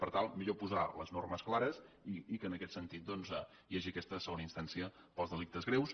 per tant millor posar les normes clares i que en aquest sentit doncs hi hagi aquesta segona instància pels delictes greus